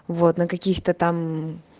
вот на каких-то там